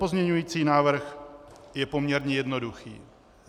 Pozměňovací návrh je poměrně jednoduchý.